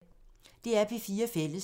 DR P4 Fælles